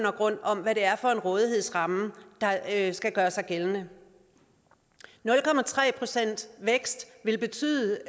og grund om hvad det er for en rådighedsramme der skal gøre sig gældende nul procent vækst vil betyde